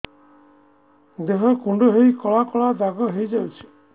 ଦେହ କୁଣ୍ଡେଇ ହେଇ କଳା କଳା ଦାଗ ହେଇଯାଉଛି